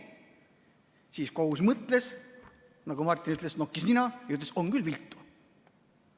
Siis kohus mõtles, nagu Martin ütles, nokkis nina ja ütles, et on küll viltu.